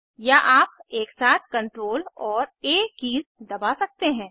या आप एकसाथ CTRL और आ कीज़ दबा सकते हैं